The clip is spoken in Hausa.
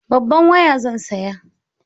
Babban waya zan saya.